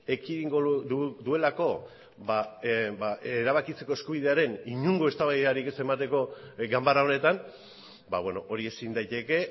ekidingo duelako erabakitzeko eskubidearen inongo eztabaidarik ez emateko ganbara honetan hori ezin daiteke